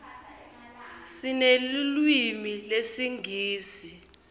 sinelulwimi lesingisi